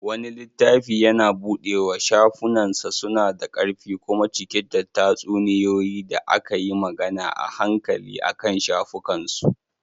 Wani littafi yana buɗewa, shafunansa suna da ƙarfi kuma cike da tatsuniyoyi da aka yi magana a hankali akan shafukansu.